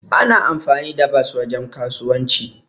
Ana amfani da bos wajen kasuwanci.